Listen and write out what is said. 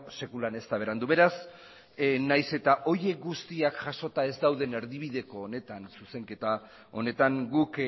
sekulan ez da berandu beraz nahiz eta horiek guztiak jasota ez dauden erdibideko honetan zuzenketa honetan guk